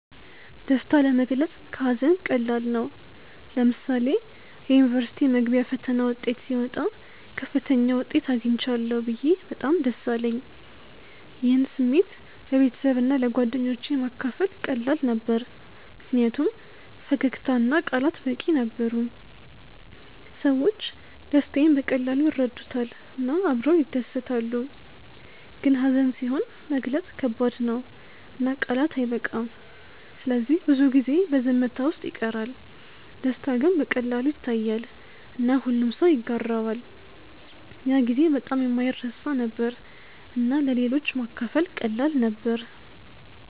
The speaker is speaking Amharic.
ደስታ ለመግለጽ ከሀዘን ቀላል ነው። ለምሳሌ የዩኒቨርሲቲ መግቢያ ፈተና ውጤት ሲወጣ ከፍተኛ ውጤት አግኝቻለሁ ብዬ በጣም ደስ አለኝ። ይህን ስሜት ለቤተሰብና ለጓደኞቼ ማካፈል ቀላል ነበር ምክንያቱም ፈገግታ እና ቃላት በቂ ነበሩ። ሰዎች ደስታዬን በቀላሉ ይረዱታል እና አብረው ይደሰታሉ። ግን ሀዘን ሲሆን መግለጽ ከባድ ነው እና ቃላት አይበቃም ስለዚህ ብዙ ጊዜ በዝምታ ውስጥ ይቀራል። ደስታ ግን በቀላሉ ይታያል እና ሁሉም ሰው ይጋራዋል። ያ ጊዜ በጣም የማይረሳ ነበር እና ለሌሎች ማካፈል ቀላል ነበር።